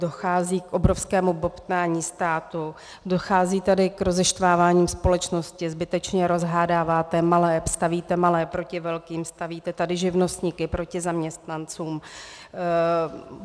Dochází k obrovskému bobtnání státu, dochází tady k rozeštvávání společnosti, zbytečně rozhádáváte malé, stavíte malé proti velkým, stavíte tady živnostníky proti zaměstnancům.